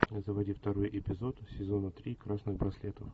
заводи второй эпизод сезона три красных браслетов